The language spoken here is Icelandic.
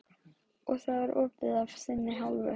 Hafþór: Og það er opið af þinni hálfu?